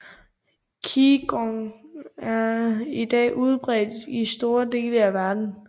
Qigong er i dag udbredt i store dele af verden